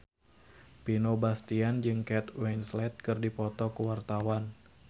Vino Bastian jeung Kate Winslet keur dipoto ku wartawan